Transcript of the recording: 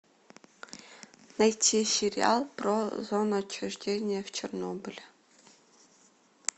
найти сериал про зону отчуждения в чернобыле